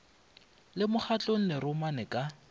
le mokgatlong le romane ka